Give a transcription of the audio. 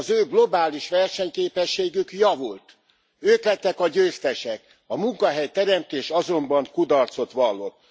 Az ő globális versenyképességük javult, ők lettek a győztesek, a munkahelyteremtés azonban kudarcot vallott.